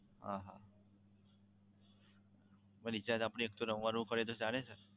હા હા પછી આપણે recharge એક સો નવ્વાણું નું કરાવીએ તો ચાલે ને?